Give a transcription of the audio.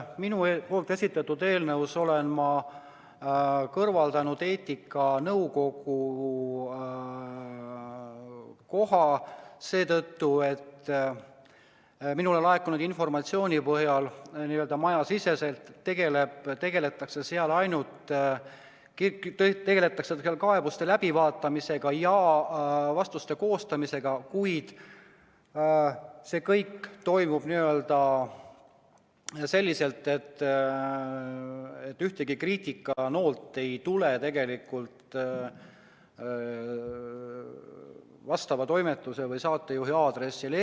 Minu esitatud eelnõus olen ma kõrvaldanud eetikanõukogu koha seetõttu, et minule laekunud informatsiooni põhjal n-ö majasiseselt tegeldakse seal ainult kaebuste läbivaatamisega ja vastuste koostamisega, kuid see kõik toimub selliselt, et ühtegi kriitikanoolt vastava toimetuse või saatejuhi aadressil ei tule.